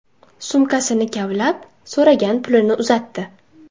Sumkasini kavlab, so‘ragan pulini uzatdi.